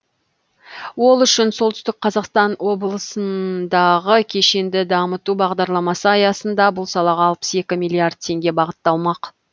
ол үшін солтүстік қазақстан облысындағы кешенді дамыту бағдарламасы аясында бұл салаға алпыс екі миллиард теңге бағытталмақ